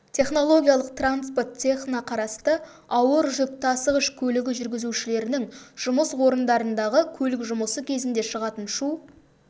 технологиялық транспорт цехына қарасты ауыр жүк тасығыш көлігі жүргізушілерінің жұмыс орындарындағы көлік жұмысы кезінде шығатын шу